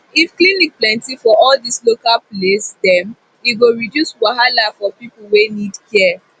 if clinic plenti for all dis local place dem e go reduce wahala for pipu wey need care